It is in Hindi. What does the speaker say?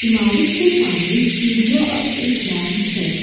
इमारत के सामने सीढ़ियां और एक रैंप है।